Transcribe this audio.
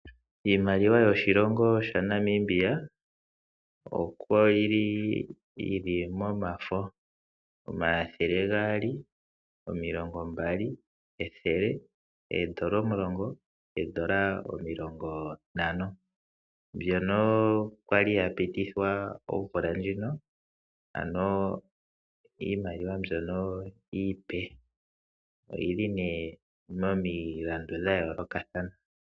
Iimaliwa yoshilongo shetu Namibia oyi li yi li mOmafo. Omathele gaali, omilongo mbali, ethele, oondola omilongo, oondola omilongo ntano. Mbyono kwa li ya pitithwa omvula ndjino, ano iimaliwa mbyono iipe, oyi li nee momilandu dha yoolokathana.